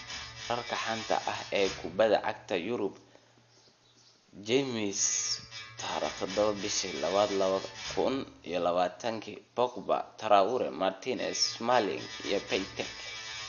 Wararka xanta ah ee kubada cagta Yurub Jimce 07.02.2020: Pogba, Traore, Martinez, Smalling, Piatek